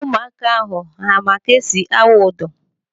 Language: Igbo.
Ụmụaka ahụ ha ma ka esi awụ ụdọ?